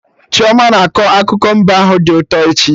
Chioma na-akọ akụkọ mbe ahụ dị ụtọ echi